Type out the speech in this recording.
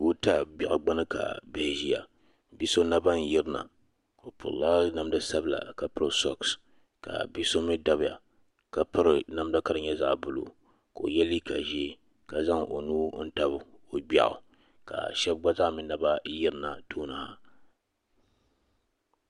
goota biɛɣu gbuni ka bihi ʒiya bi' so naba n-yirina o piri la namda sabila ka piri shuɣisi ka bi' so mi dabiya ka piri namda ka di nyɛ zaɣ' buluu ka o ye liiga ʒee ka zaŋ o nuu tabi o gbeɣu ka shɛba gba zaa mi naba n-yirina tooni ha.